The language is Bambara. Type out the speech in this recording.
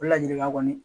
O ladilikan kɔni